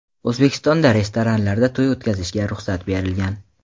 O‘zbekistonda restoranlarda to‘y o‘tkazishga ruxsat berilgan.